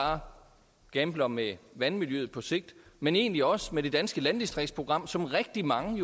bare gambler med vandmiljøet på sigt men egentlig også med det danske landdistriktsprogram som rigtig mange